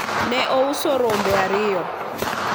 ne ouso rombe ariyo